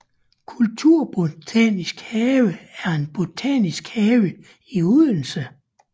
Kulturbotanisk Have er en botanisk have i Odense